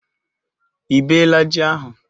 Ị bee la ji ahu?